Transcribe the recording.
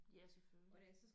Ja selvfølgelig